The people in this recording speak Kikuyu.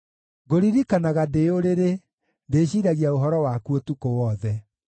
Ngũririkanaga ndĩ ũrĩrĩ; ndĩciiragia ũhoro waku ũtukũ wothe.